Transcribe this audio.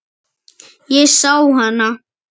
Ég sá hana.